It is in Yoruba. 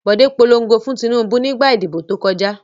Bòdé polongo fún Tinúbú nígbà ìdìbò tó kọjá.